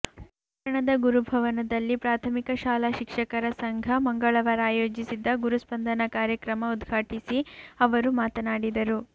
ಪಟ್ಟಣದ ಗುರುಭವನದಲ್ಲಿ ಪ್ರಾಥಮಿಕ ಶಾಲಾ ಶಿಕ್ಷಕರ ಸಂಘ ಮಂಗಳವಾರ ಆಯೋಜಿಸಿದ್ದ ಗುರುಸ್ಪಂದನ ಕಾರ್ಯಕ್ರಮ ಉದ್ಘಾಟಿಸಿ ಅವರು ಮಾತನಾಡಿದರು